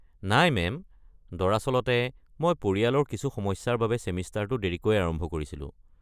নাই মেম, দৰাচলতে মই পৰিয়ালৰ কিছু সমস্যাৰ বাবে ছেমিষ্টাৰটো দেৰিকৈ আৰম্ভ কৰিছিলোঁ।